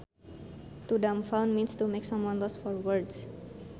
To dumbfound means to make someone lost for words